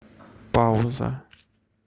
пауза